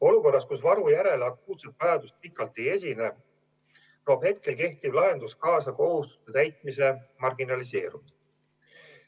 Olukorras, kus varu järele akuutset vajadust pikalt ei esine, toob praegu kehtiv lahendus kaasa kohustuste täitmise marginaliseerumise.